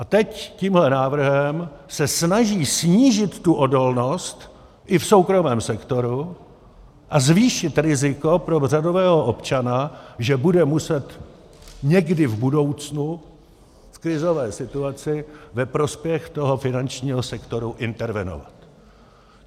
A teď tímhle návrhem se snaží snížit tu odolnost i v soukromém sektoru a zvýšit riziko pro řadového občana, že bude muset někdy v budoucnu v krizové situaci ve prospěch toho finančního sektoru intervenovat.